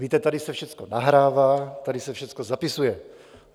Víte, tady se všechno nahrává, tady se všechno zapisuje.